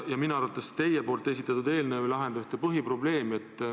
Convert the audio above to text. Ja minu arvates teie esitatud eelnõu ei lahenda ühte põhiprobleemi.